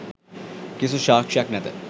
කිසිදු සාක්‍ෂියක් නැත.